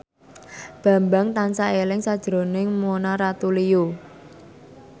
Bambang tansah eling sakjroning Mona Ratuliu